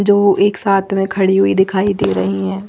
जो एक साथ खड़े हुए दिखाई दे रहे है।